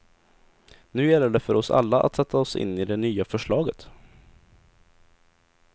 Nu gäller det för oss alla att sätta oss in i det nya förslaget.